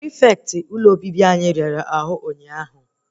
Prịfeti hostelu anyị yara arụ ụnyaahụ